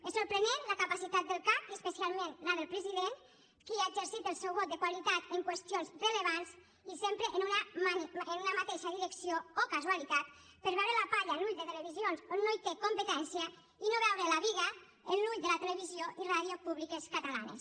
és sorprenent la capacitat del cac i especialment la del president qui ha exercit el seu vot de qualitat en qüestions rellevants i sempre en una mateixa direcció oh casualitat per veure la palla en l’ull de televisions on no té competència i no veure la biga en l’ull de la televisió i ràdio públiques catalanes